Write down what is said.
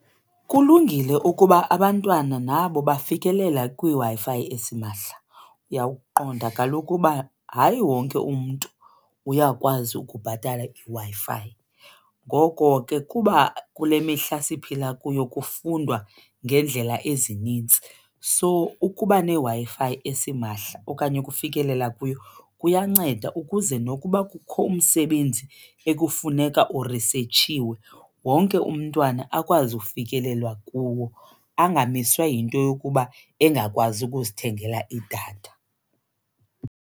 Kulungile ukuba abantwana nabo bafikelele kwiWi-Fi esimahla. Uyawuqonda kaloku uba hayi wonke umntu uyakwazi ukubhatala iWi-Fi. Ngoko ke kuba kule mihla siphila kuyo kufundwa ngeendlela ezinintsi so ukuba neWi-Fi esimahla okanye ukufikelela kuyo kuyanceda ukuze nokuba kukho umsebenzi ekufuneka urisetshiwe wonke umntwana akwazi ufikelelwa kuwo angamiswa yinto yokuba engakwazi ukuzithengela idatha.